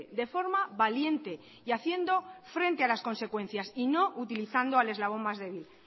de forma valiente y haciendo frente a las consecuencias y no utilizando al eslabón más débil